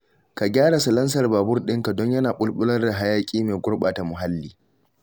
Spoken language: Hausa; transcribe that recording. Ka gyara salansar babur ɗinka don yana bulbular da hayaƙi mai gurɓata muhalli